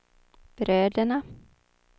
bröderna